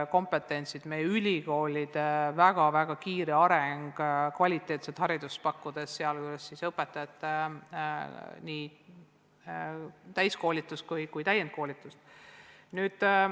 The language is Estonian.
Meie ülikoolid on väga kiiresti arenenud, pakkudes kvaliteetset haridust, sealjuures õpetajatele nii täiskoolitust kui ka täienduskoolitust.